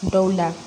Dɔw la